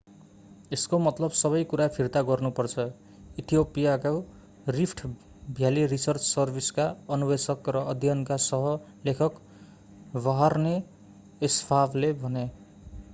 यसको मतलब सबै कुरा फिर्ता गर्नु पर्छ इथियोपियाको रिफ्ट भ्याली रिसर्च सर्भिसका अन्वेषक र अध्ययनका सह लेखक बर्हाने एस्फावले भने